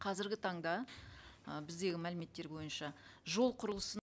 қазіргі таңда ы біздегі мәліметтер бойынша жол құрылысын